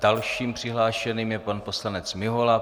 Dalším přihlášeným je pan poslanec Mihola.